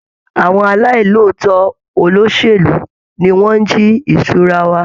Àwọn aláì lòótọ́ olóṣèlú ni wọ́n ń jí ìṣura wa.